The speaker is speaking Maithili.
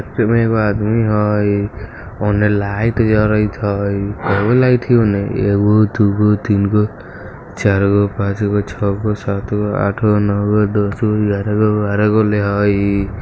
उसमे एगो आदमी हई उने लाइट जड़त हई केय गो लाइट हई उने एगो दू गो तीन गो चार गो पांच गो छ गो सात गो आठ गो नौ गो दस गो ग्यारह गो बारह गो उने हई।